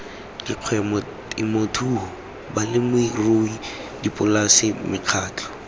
dikgwebo temothuo balemirui dipolase mekgatlho